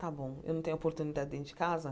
Tá bom, eu não tenho oportunidade dentro de casa?